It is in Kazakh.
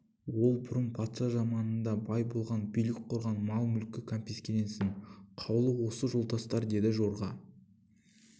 ол бұрын патша заманында бай болған билік құрған мал-мүлкі кәмпескеленсін қаулы осы жолдастар деді жорға